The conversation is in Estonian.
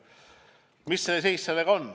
Mis seis sellega on?